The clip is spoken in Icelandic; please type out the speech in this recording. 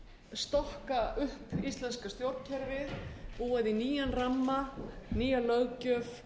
stokka upp íslenska stjórnkerfið búa því nýjan ramma nýja löggjöf